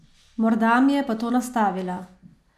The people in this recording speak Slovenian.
Morda mi je pa to nastavila?